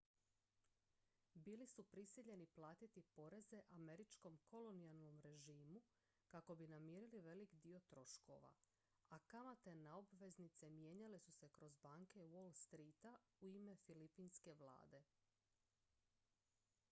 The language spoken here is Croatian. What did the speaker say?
bili su prisiljeni platiti poreze američkom kolonijalnom režimu kako bi namirili velik dio troškova a kamate na obveznice mijenjale su se kroz banke wall streeta u ime filipinske vlade